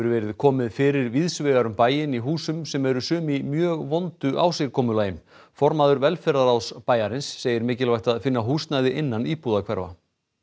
verið komið fyrir víðs vegar um bæinn í húsum sem eru sum í mjög vondu ásigkomulagi formaður velferðarráðs bæjarins segir mikilvægt að finna húsnæði innan íbúðarhverfa